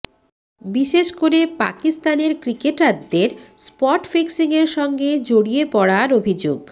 বিশেষ করে পাকিস্তানের ক্রিকেটারদের স্পট ফিক্সিংয়ের সঙ্গে জড়িয়ে পড়ার অভিযোগ